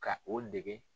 Ka o dege